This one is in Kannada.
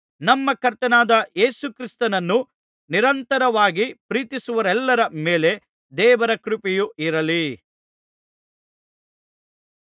ನಮ್ಮ ಕರ್ತನಾದ ಯೇಸು ಕ್ರಿಸ್ತನನ್ನು ನಿರಂತರವಾಗಿ ಪ್ರೀತಿಸುವವರೆಲ್ಲರ ಮೇಲೆ ದೇವರ ಕೃಪೆಯು ಇರಲಿ